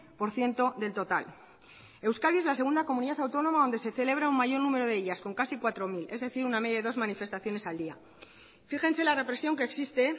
por ciento del total euskadi es la segunda comunidad autónoma donde se celebra un mayor número de ellas con casi cuatro mil es decir una media de dos manifestaciones al día fíjense la represión que existe